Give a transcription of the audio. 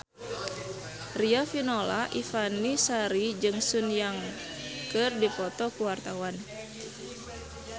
Riafinola Ifani Sari jeung Sun Yang keur dipoto ku wartawan